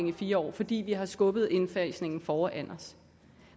i fire år fordi vi har skubbet indfasningen foran os